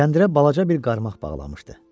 Kəndirə balaca bir qarmaq bağlamışdı.